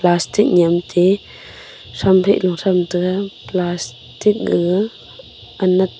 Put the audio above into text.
pastic nyem te thrampheh nu thram taga plastic ga anat--